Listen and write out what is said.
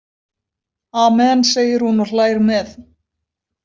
Amen, segir hún og hlær með.